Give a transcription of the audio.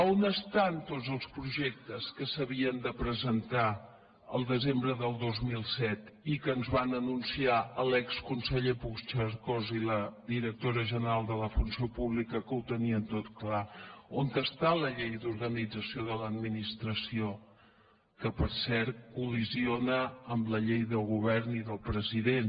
on estan tots els projectes que s’havien de presentar el desembre del dos mil set i que ens van anunciar l’exconseller puigcercós i la directora general de la funció pública que ho tenien tot clar on està la llei d’organització de l’administració que per cert col·lideix amb la llei del govern i del president